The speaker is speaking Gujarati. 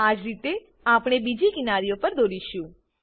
આજ રીતે આપણે બીજી કિનારીઓ પર દોરીશું